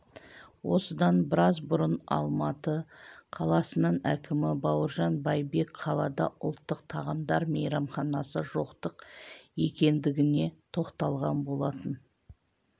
осыдан біраз бұрын алматы қаласының әкімі бауыржан байбек қалада ұлттық тағамдар мейрамханасы жоқтық екендігіне тоқталған болатын